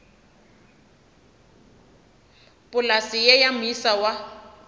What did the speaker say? polase ye ya moisa wa